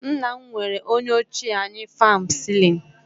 Nna m nwere onye ochie anyị fan celling